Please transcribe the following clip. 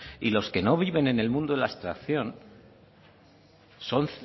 y los que no viven de la abstracción son